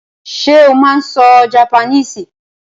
Sé o máa n so japaníìsì?